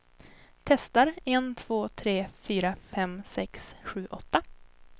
Testar en två tre fyra fem sex sju åtta.